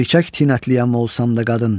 Erkək tinətliyəm olsam da qadın.